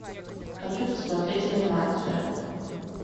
хочу посмотреть анимацию